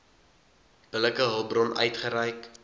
billike hulpbron uitgereik